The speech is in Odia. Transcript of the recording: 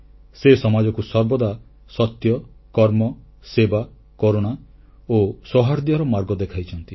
ସେ ସମାଜକୁ ସର୍ବଦା ସତ୍ୟ କର୍ମ ସେବା କରୁଣା ଓ ସୌହାର୍ଦ୍ଦ୍ୟର ମାର୍ଗ ଦେଖାଇଛନ୍ତି